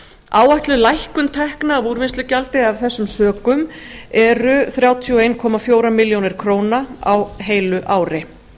áætluð lækkun tekna af úrvinnslugjaldi af þessum sökum eru þrjátíu og einn komma fjórum milljónum króna á heilu ári